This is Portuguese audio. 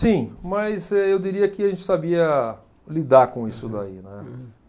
Sim, mas eu diria que a gente sabia lidar com isso daí, né.